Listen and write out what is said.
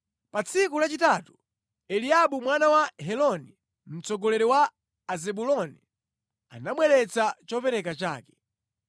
Pa tsiku lachitatu, Eliabu mwana wa Heloni, mtsogoleri wa Azebuloni, anabweretsa chopereka chake.